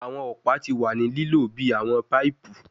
Awọn ọpa ti wa ni lilo bi awọn paipu